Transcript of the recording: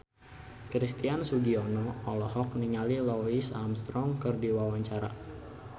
Christian Sugiono olohok ningali Louis Armstrong keur diwawancara